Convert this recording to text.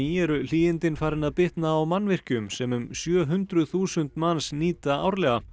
eru hlýindin farin að bitna á mannvirkjum sem um sjö hundruð þúsund manns nýta árlega